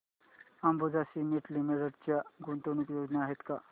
Ambuja cement limited च्या गुंतवणूक योजना आहेत का